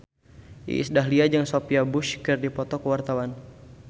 Iis Dahlia jeung Sophia Bush keur dipoto ku wartawan